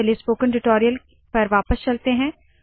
चलिए spoken tutorial पर वापस चलते है